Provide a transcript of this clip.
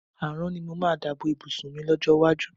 Àrán ni mo máa dà bo ìbùsùn mi lọ́jọ́ iwájú.